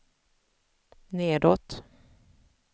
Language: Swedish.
nedåt